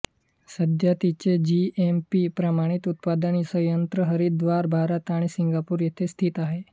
सध्या तिचे जीएमपी प्रमाणित उत्पादन संयंत्र हरिद्वार भारत आणि सिंगापूर येथे स्थित आहेत